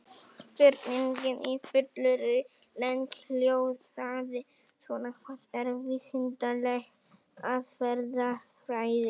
Spurningin í fullri lengd hljóðaði svona: Hvað er vísindaleg aðferðafræði?